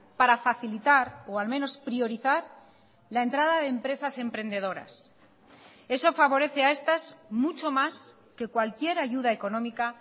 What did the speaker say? para facilitar o al menos priorizar la entrada de empresas emprendedoras eso favorece a estas mucho más que cualquier ayuda económica